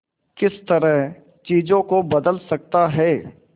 किस तरह चीजों को बदल सकता है